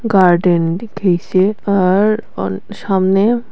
garden দেখেইসে আর অন সামনে--